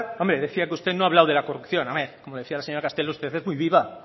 decía que usted no ha hablado de la corrupción hombre como decía la señora castelo usted es muy viva